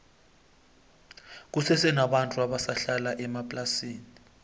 kusese nabantu abasa hlala emaplasini